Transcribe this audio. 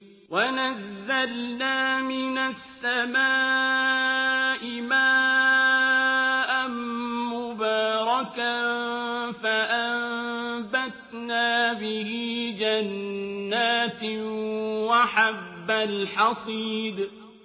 وَنَزَّلْنَا مِنَ السَّمَاءِ مَاءً مُّبَارَكًا فَأَنبَتْنَا بِهِ جَنَّاتٍ وَحَبَّ الْحَصِيدِ